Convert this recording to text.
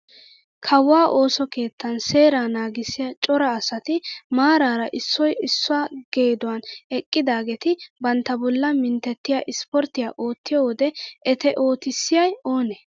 Kawuwaa ooso keettan seeraa naagissiyaa cora asati maarara issoy issuwaa geeduwaan eqqidageti bantta bollaa minttettiyaa isporttiyaa ottiyoo wode ete oottisiyay oonee?